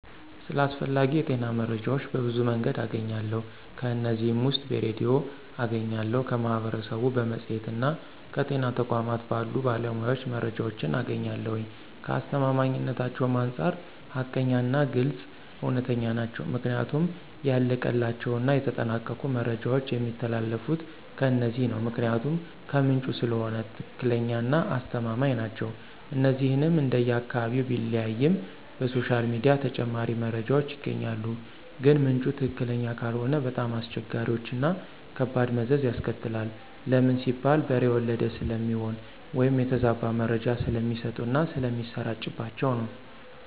ስለ አስፈላጊ የጤና መረጃዎች በብዙ መንገድ አገኛለሁ ከነዚህም ውስጥ በሬድዮ አገኛለሁ፣ ከማህበረሰቡ፣ በመፅሔትና ከጤና ተቋማት ባሉ ባለሞያዎች መረጃዎችን አገኛለሁኝ፣ ከአስተማማኝነታቸውም አንፃር ሀቀኛና ግልፅ፣ እውነተኛ ናቸው ምክንያቱም ያለቀላቸውና የተጠናቀቁ መረጃዎች የሚተላለፊት ከነዚህ ነው ምክንያቱም ከምንጩ ስለሆነ ትክክለኛና አስተማማኝ ናቸው። እነዚህንም እንደየ አካባቢው ቢለያይም በሶሻል ሚዲያ ተጨማሪ መረጃዎች ይገኛሉ ግን ምንጩ ትክክለኛ ካልሆነ በጣም አስቸጋሪዎችና ከባድ መዘዝ ያስከትላል ለምን ሲባል በሬ ወለደ ስለሚሆን ወይም የተዛባ መረጃ ስለሚሰጡና ስለሚሰራጭባቸው ነው።